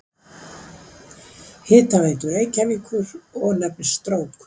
Hitaveitu Reykjavíkur og nefnist Strókur.